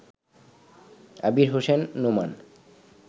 Abir Hossain Noman